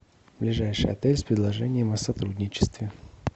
ближайший отель с предложением о сотрудничестве